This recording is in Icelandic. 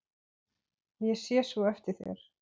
Ég sé svo eftir þér.